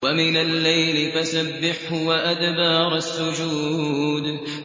وَمِنَ اللَّيْلِ فَسَبِّحْهُ وَأَدْبَارَ السُّجُودِ